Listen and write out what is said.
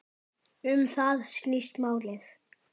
Um það snýst málið.